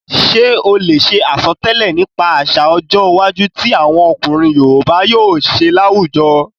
Ṣé o lè ṣe àsọtẹ́lẹ̀ nípa àsà ọjọ́ iwájú ti àwọn ọkùnrin yoòbá yóò ṣe láwùjọ?